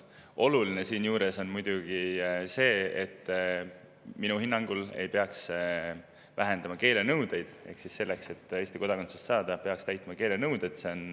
Oluline on minu hinnangul see, et ei peaks keelenõudeid, ehk selleks, et Eesti kodakondsust saada, peaks täitma keelenõudeid.